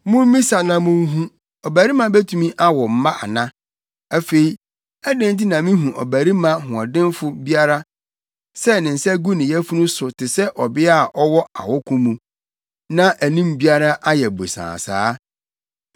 Mummisa na munhu: Ɔbarima betumi awo mma ana? Afei, adɛn nti na mihu ɔbarima hoɔdenfo biara sɛ ne nsa gu ne yafunu so te sɛ ɔbea a ɔwɔ awoko mu, na anim biara ayɛ bosaa saa?